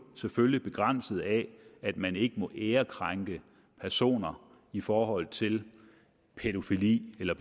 selvfølgelig begrænset af at man ikke må ærekrænke personer i forhold til pædofili eller